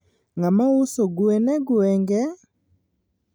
Ngama uso gwen e gwengni?